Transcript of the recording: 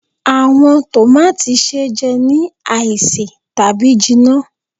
Awọn tòmátì se jẹ ni aise tabi jinna.